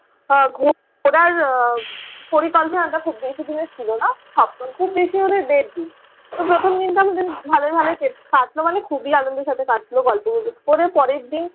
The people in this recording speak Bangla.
ঘোরার পরিকল্পনাটা খুব বেশিদিনের ছিল না। খুব বেশি হলে দেড় দিন। তো প্রথম দিনতো আমাদের ভালই ভালই কাটলো । কাটল মানে খুবই আনন্দের সাথে কাটলো। গল্প গুজব করে পরের দিন